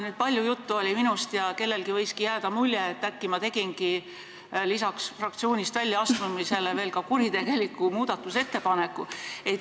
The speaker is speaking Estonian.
Nüüd oli palju juttu minust ja kellelgi võiski jääda mulje, et äkki ma tegingi lisaks fraktsioonist väljaastumisele veel ka kuritegeliku muudatusettepaneku.